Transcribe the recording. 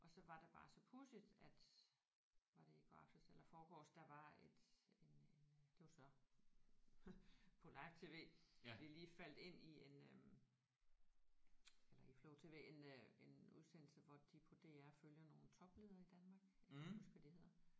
Og så var der bare så pudsigt at var det i går aftes eller forgårs der var et en en det var så på live TV vi lige faldt ind i en øh eller i flow-tv en øh en udsendelse hvor de på DR følger nogle topledere i Danmark jeg kan ikke huske hvad de hedder